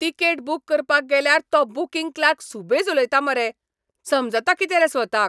Ticket book करपाक गेल्यार तो बूकिंग क्लार्क सुबेज उलयता मरे, समजता कितें रे स्वताक?